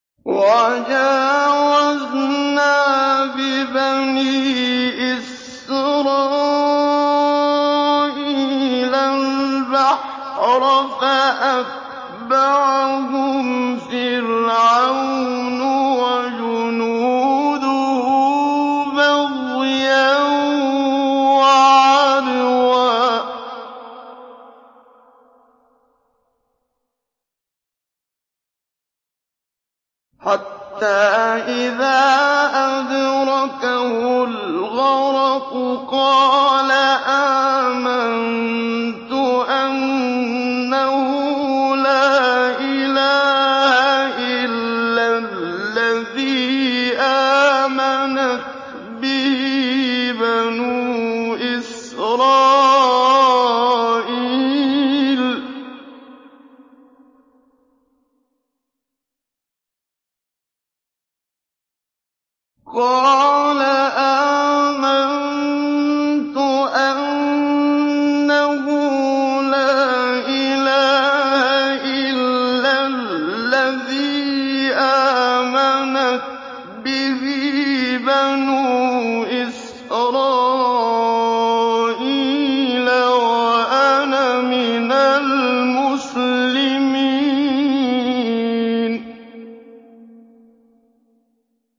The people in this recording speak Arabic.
۞ وَجَاوَزْنَا بِبَنِي إِسْرَائِيلَ الْبَحْرَ فَأَتْبَعَهُمْ فِرْعَوْنُ وَجُنُودُهُ بَغْيًا وَعَدْوًا ۖ حَتَّىٰ إِذَا أَدْرَكَهُ الْغَرَقُ قَالَ آمَنتُ أَنَّهُ لَا إِلَٰهَ إِلَّا الَّذِي آمَنَتْ بِهِ بَنُو إِسْرَائِيلَ وَأَنَا مِنَ الْمُسْلِمِينَ